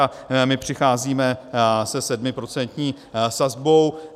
A my přicházíme se sedmiprocentní sazbou.